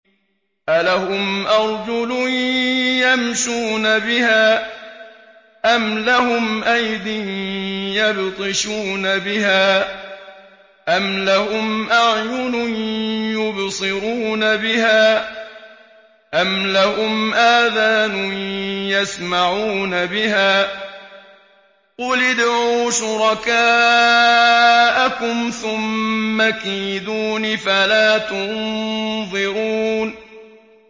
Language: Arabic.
أَلَهُمْ أَرْجُلٌ يَمْشُونَ بِهَا ۖ أَمْ لَهُمْ أَيْدٍ يَبْطِشُونَ بِهَا ۖ أَمْ لَهُمْ أَعْيُنٌ يُبْصِرُونَ بِهَا ۖ أَمْ لَهُمْ آذَانٌ يَسْمَعُونَ بِهَا ۗ قُلِ ادْعُوا شُرَكَاءَكُمْ ثُمَّ كِيدُونِ فَلَا تُنظِرُونِ